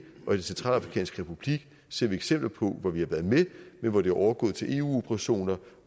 og den centralafrikanske republik ser vi eksempler på at vi har været med men hvor det er overgået til eu operationer